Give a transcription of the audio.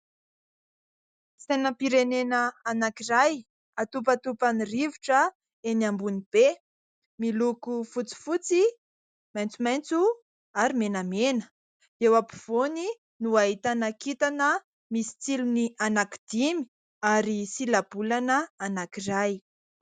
Sainam-pirenena anankiray atopatopan'ny rivotra eny ambony be miloko : fotsifotsy, maitsomaitso, ary menamena. Eo ampovoany no ahitana kintana misy tsilony anankidimy ary sila-bolana anankiray.